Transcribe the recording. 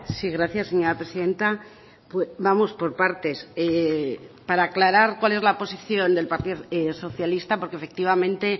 sí gracias señora presidenta vamos por partes para aclarar cuál es la posición del partido socialista porque efectivamente